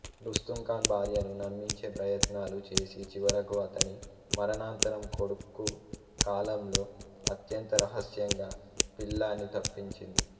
రుస్తుంఖాన్ భార్యను నమ్మించే ప్రయత్నాలు చేసి చివరకు అతని మరణానంతరం కొడుకు కాలంలో అత్యంత రహస్యంగా పిల్లాణ్ణి తప్పించింది